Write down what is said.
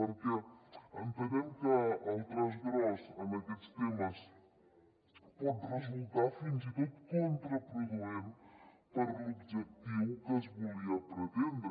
perquè entenem que el traç gros en aquests temes pot resultar fins i tot contraproduent per a l’objectiu que es volia pretendre